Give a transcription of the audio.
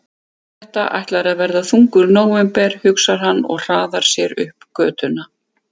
Þetta ætlar að verða þungur nóvember, hugsaði hann og hraðaði sér upp götuna.